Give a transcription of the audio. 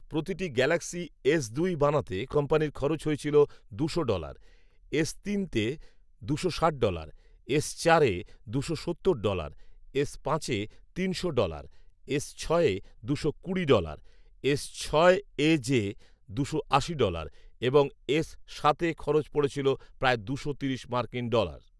প্রতিটি Galaxy S দুই বানাতে কোম্পানির খরচ হয়েছিল দুশো ডলার, এস তিন তে দুশো ষাট ডলার, এস চারে দুশো সত্তর ডলার, এস পাঁচে তিনশো ডলার, এস ছয়ে দুশো কুড়ি ডলার, এস ছয় এজে দুশো আশি ডলার এবং এস সাতে খরচ পড়েছিল প্রায় দুশো তিরিশ মার্কিন ডলার